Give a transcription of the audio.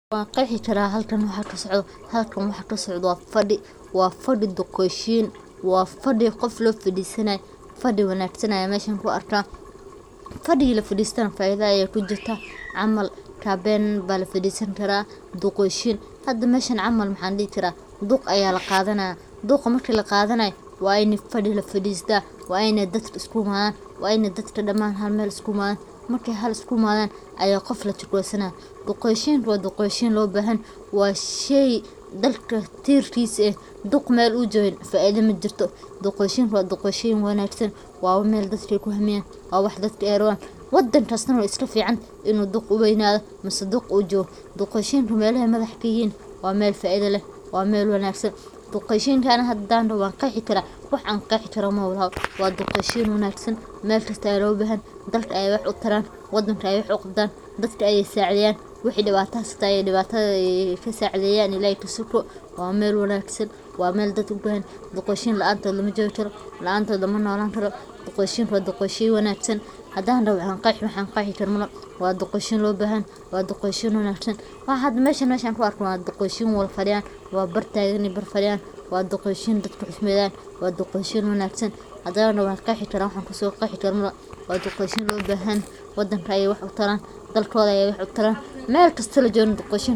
Odayaasha waa tiir-dhexaadka bulshadeenna, waana haldoorro ku suntan xikmad, waayo-aragnimo iyo hogaamin qoto dheer oo laga dhaxlo muddo dheer oo ay ku soo jireen nolosha, iyagoo door weyn ka ciyaara xalinta khilaafaadka, ilaalinta dhaqanka iyo suugaanta, hagidda jiilka cusub, iyo kor u qaadidda wadajirka bulshada, waxayna inta badan yihiin dad si weyn loo tixgeliyo loogana dambeeyo go’aamada muhiimka ah, khaasatan marka ay timaado arrimo u baahan in si miyir leh oo maskax furan loogu dhawaado, sida heshiisiinta beelaha, hagidda xafladaha dhaqanka, iyo ilaalinta xeerarka dhaqameed ee suubban, taasoo keenta in odayaal badan lagu qiimeeyo kalsoonida.